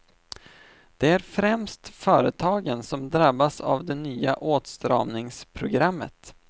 Det är främst företagen som drabbas av det nya åtstramningsprogrammet.